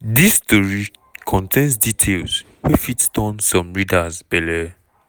dis tori contains details wey fit turn some readers belle.